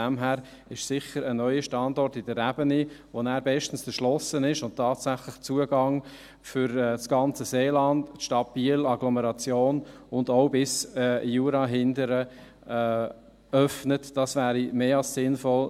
Deshalb wäre ein neuer Standort in der Ebene, der dann bestens erschlossen ist und tatsächlich Zugang für das ganze Seeland, die Stadt Biel, Agglomeration, und auch bis Jura hinten öffnet, sicher mehr als sinnvoll.